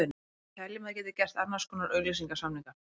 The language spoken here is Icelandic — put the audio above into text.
Við teljum að þeir geti gert annars konar auglýsingasamninga.